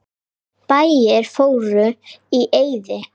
Bæir fóru í eyði.